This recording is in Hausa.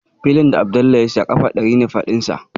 Filin da Abdallah ya saya ƙafa ɗari ne faɗinsa